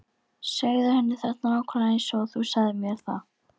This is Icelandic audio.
Segðu henni þetta nákvæmlega eins og þú sagðir mér það.